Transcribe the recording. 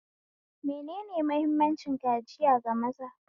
Menene mahimman kaciya ga maza?